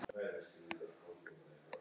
Hversu fallegt er það?